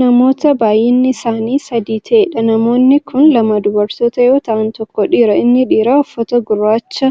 Namoota baay'inni isaanii sadi ta'eedha namoonni Kuni lama dubartootaa yoo ta'an tokko dhiira. inni dhiira uffata gurraacha